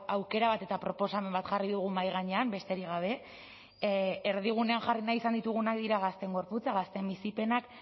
aukera bat eta proposamen bat jarri dugu mahai gainean besterik gabe erdigunean jarri nahi izan ditugunak dira gazteen gorputza gazteen bizipenak